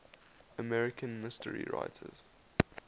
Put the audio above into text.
american mystery writers